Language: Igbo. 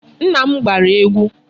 Nna m gbara egwu.